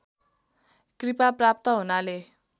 कृपा प्राप्त हुनाले